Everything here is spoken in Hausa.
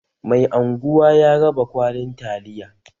Mai anguwa ya raba kwalin taliya